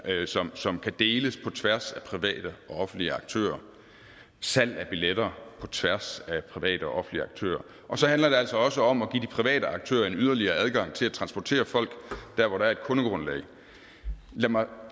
som kan deles på tværs af private og offentlige aktører salg af billetter på tværs af private og offentlige aktører og så handler det altså også om at private aktører en yderligere adgang til at transportere folk der hvor der er et kundegrundlag lad mig